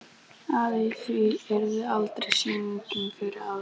Að í því yrði aldrei sýning fyrir aðra.